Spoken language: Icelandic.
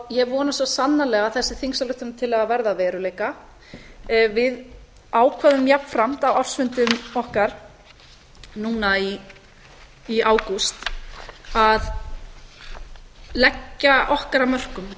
ég vona svo sannarlega að þessi þingsályktunartillaga verði að veruleika við ákváðum jafnframt á ársfundum okkar núna í ágúst að leggja okkar af mörkum í